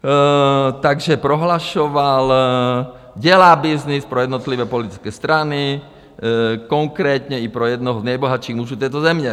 Takže prohlašoval, dělá byznys pro jednotlivé politické strany, konkrétně i pro jednoho z nejbohatších mužů této země.